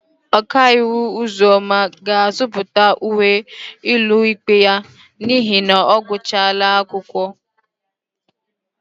Okaiwu Ụzọma ga-azụta uwe ụlọikpe ya n'ihi na ọ gụchala akwụkwọ.